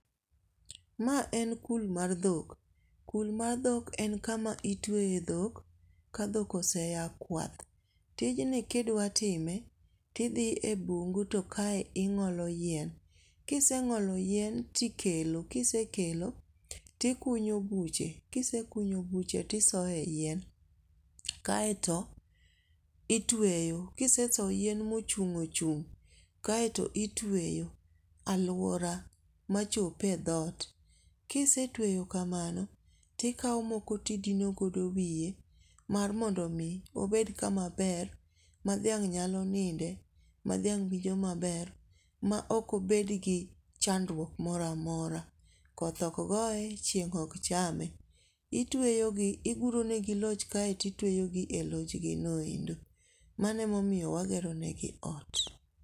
Ma en kul mar dhok, kul mar dhok en kama itweye dhok ka dhok oseya kwath, tijni ka idwatime ti idhi e mbugu to kae ing'olo yien, kiseng'olo yien to ikelo, kisekelo tikunyo buche, kise kunyo buche tisoye yien, kaeto itweyo, kiseso yien ma ochung' ochung' kaeto itweyo aluora machop e dhot, kisetweyo kamano tikawo moko tidinogodo wiye mar mondo mi obed kama ber ma dhiang' nyalo ninde, ma dhiang' winjo maber ma okobed gi chandruok moramora, koth ok goye chieng' ok chame itweyogi iguronegi loch kaeto itweyogi e lochginoendo mano e momiyo wageronegi loch.